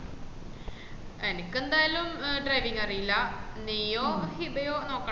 എനിക്കെന്താലും driving അറീല്ല നീയോ ഹിബയോ നോക്കണം